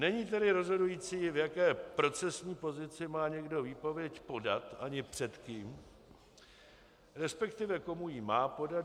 Není tedy rozhodující, v jaké procesní pozici má někdo výpověď podat, ani před kým, respektive komu ji má podat.